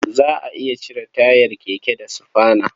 Za a iya cire tayar keke da sufana.